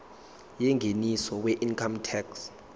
yengeniso weincome tax